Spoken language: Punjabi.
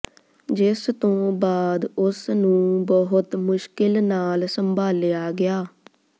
ਜਿਸ ਤੋਂ ਬਾਅਦ ਉਸਨੂੰ ਬਹੁਤ ਮੁਸ਼ਕਿਲ ਨਾਲ ਸੰਭਾਲਿਆ ਗਿਆ